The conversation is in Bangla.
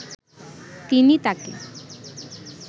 তিনি তাকে